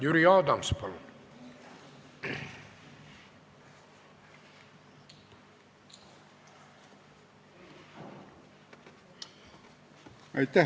Jüri Adams, palun!